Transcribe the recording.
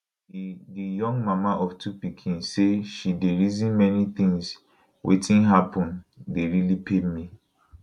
di di young mama of two pikin say she dey reason many tins wetin happun dey really pain me